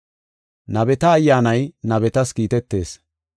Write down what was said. Nabeta ayyaanay nabetas kiitetees.